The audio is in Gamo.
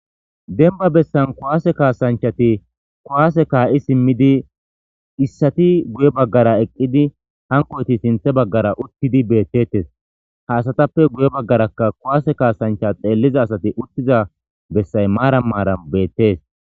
Denba bessan kuwaase kaasanchati kuwaase kaa7i simmidi issati guye baggara eqqidi hankoyti sinthe baggara uttidi beettettes ha asatappe guye baggarakka kuwaase kaasancha xeelliza asati uttiza bessay maaran maaran beettees.